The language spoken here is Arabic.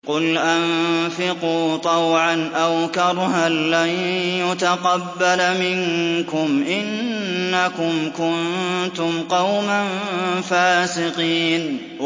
قُلْ أَنفِقُوا طَوْعًا أَوْ كَرْهًا لَّن يُتَقَبَّلَ مِنكُمْ ۖ إِنَّكُمْ كُنتُمْ قَوْمًا فَاسِقِينَ